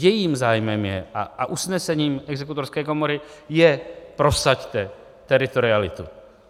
Jejím zájmem je a usnesením exekutorské komory je: prosaďte teritorialitu.